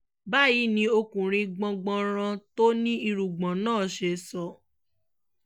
báyìí ni ọkùnrin gbọ̀ngbọ̀nràn tó ní irùngbọ̀n náà ṣe sọ